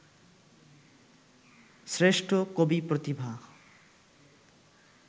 শ্রেষ্ঠ কবি প্রতিভা